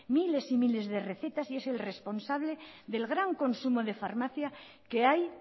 miles y miles de recetas y es el responsable del gran consumo de farmacia que hay